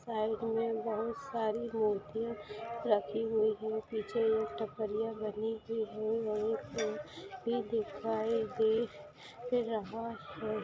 Self में बहुत सारी मूर्तियाँ रखी हुई है और पीछे ये टपरिया बनी हुई है वहीँ पर भी दिखाई दे रहा है।